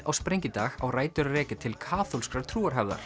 á sprengidag á rætur að rekja til kaþólskrar